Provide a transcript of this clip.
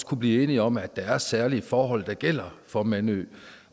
kunne blive enige om at der er særlige forhold der gælder for mandø